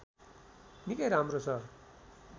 निकै राम्रो छ